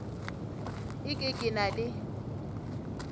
e ke ke na le